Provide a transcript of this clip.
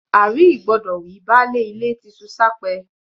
À-rí-ìgbọdọ̀ wí, baálé ilé ti ṣu s’ápẹ́